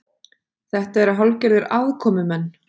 Þetta eru hálfgerðir aðkomumenn